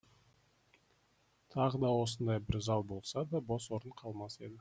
тағы да осындай бір зал болса да бос орын қалмас еді